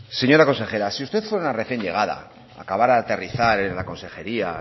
señora consejera si usted fuera una recién llegada acabara de aterrizar en la consejería